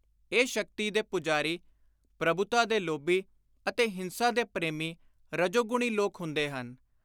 ਇਹ ਸ਼ਕਤੀ ਦੇ ਪੁਜਾਰੀ, ਪ੍ਰਭੁਤਾ ਦੇ ਲੋਭੀ ਅਤੇ ਹਿੰਸਾ ਦੇ ਪ੍ਰੇਮੀ ਰਜੋਗੁਣੀ ਲੋਕ ਹੁੰਦੇ ਹਨ।